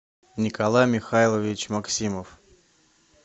николай михайлович максимов